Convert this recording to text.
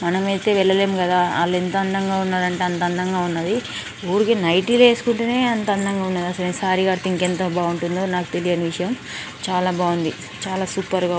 మనమైతే వెల్లలెం కదా వాళ్ళు ఎంత అందంగా ఉన్నారంటే అంతా అందంగా ఉన్నది. ఊరికే నైటీలు ఎస్కుంటేనే అంతా అందంగా ఉన్నారు ఇంకా సారీ కడితే ఇంకెంత బావుంటుందో నాకు తెలియని విషయం. చాలా బాగుంది చాలా సూప్ గా--